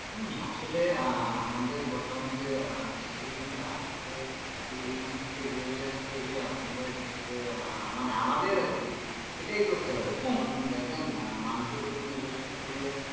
হম আসলে আমাদের বর্তমান যে আহ situation আসছে এখান থেকে বেরিয়ে আসতে হলে আপনাদের হচ্ছে আহ যে মানে আমাদের আর কি এটাই করতে হবে মানুষের উপর নির্ভরশীল হলে।